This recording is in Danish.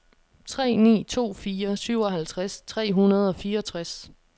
tre ni to fire syvoghalvtreds tre hundrede og fireogtres